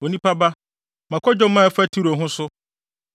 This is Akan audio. “Onipa ba, ma kwadwom a ɛfa Tiro ho so.